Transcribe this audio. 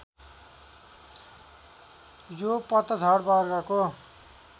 यो पतझड वर्गको